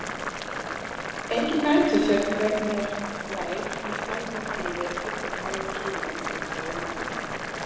Enginn nætursvefn verður mér vær í Skálholti í vetur og fram á sumar, hugsaði Marteinn.